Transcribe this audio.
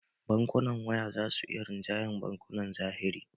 Bankunan waya za su iya rinjayar bankunan zahiri